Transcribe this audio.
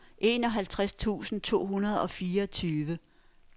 enoghalvfjerds tusind to hundrede og fireogtyve